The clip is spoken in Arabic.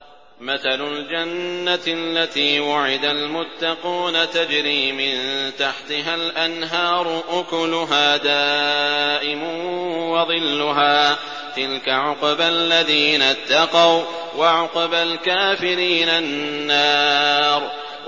۞ مَّثَلُ الْجَنَّةِ الَّتِي وُعِدَ الْمُتَّقُونَ ۖ تَجْرِي مِن تَحْتِهَا الْأَنْهَارُ ۖ أُكُلُهَا دَائِمٌ وَظِلُّهَا ۚ تِلْكَ عُقْبَى الَّذِينَ اتَّقَوا ۖ وَّعُقْبَى الْكَافِرِينَ النَّارُ